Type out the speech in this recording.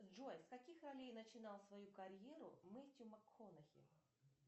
джой с каких ролей начинал свою карьеру мэтью макконахи